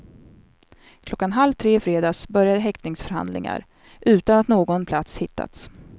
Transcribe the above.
Klockan halv tre i fredags började häktningsförhandlingar, utan att någon plats hittats.